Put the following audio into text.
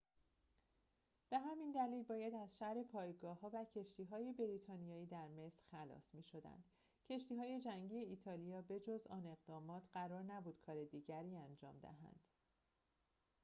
به همین دلیل باید از شر پایگاه‌ها و کشتی‌های بریتانیا در مصر خلاص می‌شدند کشتی‌های جنگی ایتالیا به‌جز آن اقدامات قرار نبود کار دیگری انجام دهند